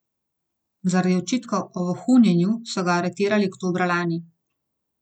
Zaradi očitkov o vohunjenju so ga aretirali oktobra lani.